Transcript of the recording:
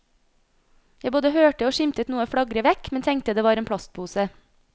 Jeg både hørte og skimtet noe flagre vekk, men tenkte det var en plastpose.